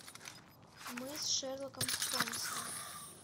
мы с шерлоком холмсом